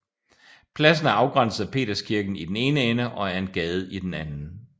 Pladsen er afgrænset af Peterskirken i den ene ende og af en gade i den anden